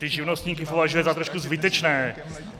Ty živnostníky považuje za trošku zbytečné.